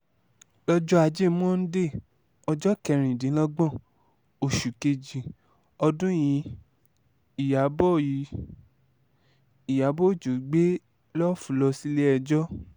lọ́jọ́ ajé monde ọjọ́ kẹrìndínlọ́gbọ̀n oṣù kejì ọdún yìí ìyàbọ̀ yìí ìyàbọ̀ ọjọ́ gbé lough lọ sílé-ẹjọ́